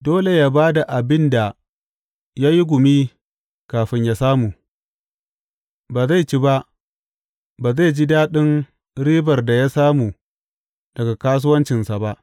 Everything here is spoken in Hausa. Dole yă ba da abin da ya yi gumi kafin yă samu, ba zai ci ba; ba zai ji daɗin ribar da ya samu daga kasuwancinsa ba.